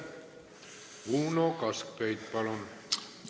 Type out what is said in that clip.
Uno Kaskpeit, palun!